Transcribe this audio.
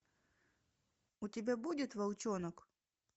у тебя будет волчонок